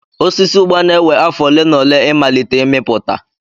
Osisi Ugba na-ewe afọ ole na ole ịmalite ịmịpụta.